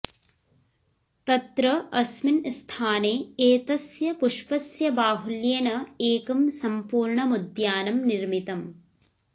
तत्र अस्मिन् स्थाने एतस्य पुष्पसस्य बाहुल्येन एकं सम्पूर्णमुद्यानं निर्मितम्